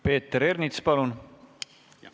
Peeter Ernits, palun!